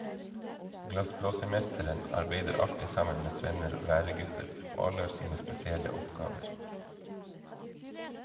Glassblåsermesteren arbeider alltid sammen med svenner og læregutter, og alle har sine spesielle oppgaver.